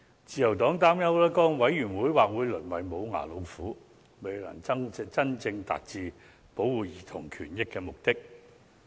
自由黨擔憂該委員會或會淪為"無牙老虎"，未能真正達致保護兒童權益的目的。